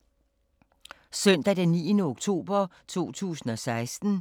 Søndag d. 9. oktober 2016